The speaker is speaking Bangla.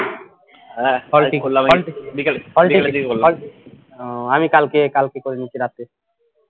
ও আমি কালকে কালকে করে নিয়েছি রাত্রে